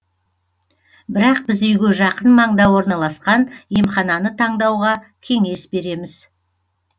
бірақ біз үйге жақын маңда орналасқан емхананы таңдауға кеңес береміз